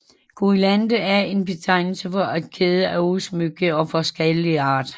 Guirlande er en betegnelse for en kæde af udsmykninger af forskellig art